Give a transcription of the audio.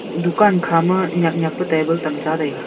dukan khama nyak nyak pe table tam cha le taiga.